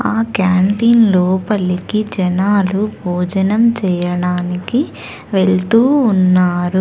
ఆ క్యాంటీన్ లోపలికి జనాలు భోజనం చేయడానికి వెళుతూ ఉన్నారు.